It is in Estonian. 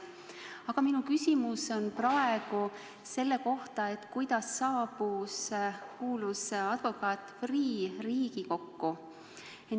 Aga minu küsimus on selle kohta, kuidas saabus Riigikokku kuulus advokaat Freeh.